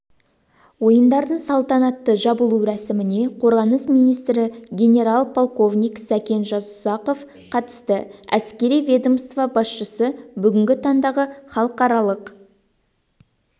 ойындардың салтанатты жабылу рәсіміне қорғаныс министрі генерал-полковник сәкен жасұзақов қатысты әскери ведомство басшысы бүгінгі таңдағы халықаралық